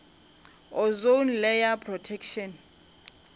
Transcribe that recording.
ozone layer protection